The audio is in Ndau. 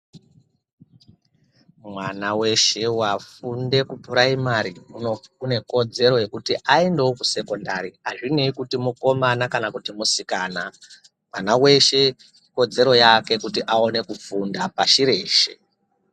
Mwana weshe wafunde kupuraimari une kodzero yekuti aendeo kusekondari azvinei kuti mukomana kana kuti musikana mwana weshe kodzero yake kuti awane kufunda pashi reshe.